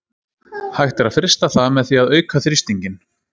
Hægt er að frysta það með því að auka þrýstinginn.